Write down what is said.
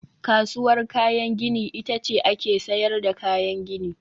Kasuwar kayan gini ita ce ake sayar da kayan gini